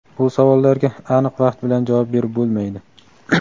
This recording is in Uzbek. Bu savollarga aniq vaqt bilan javob berib bo‘lmaydi.